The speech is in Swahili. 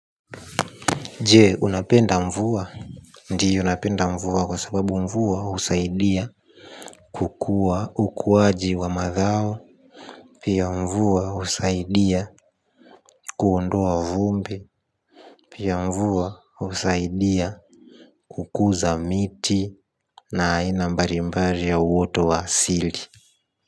Je, unapenda mvua? Ndio napenda mvua kwa sababu mvua, husaidia, kukua ukuwaji wa madhao, pia, mvua husaidia, kuondoa vumbi, pia, mvua, husaidia kukuza miti na aina mbarimbari ya uoto wa sili.